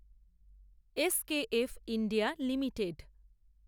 SKF India limited